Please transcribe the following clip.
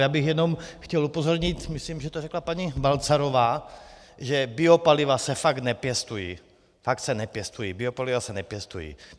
Já bych jenom chtěl upozornit, myslím, že to řekla paní Balcarová, že biopaliva se fakt nepěstují, fakt se nepěstují, biopaliva se nepěstují.